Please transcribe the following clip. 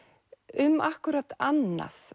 um akkúrat annað